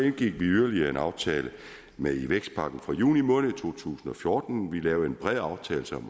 indgik vi yderligere en aftale i med vækstpakken fra juni måned to tusind og fjorten vi lavede en bred aftale